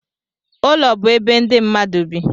ụlọ bụ ebe ndị mmadụ bi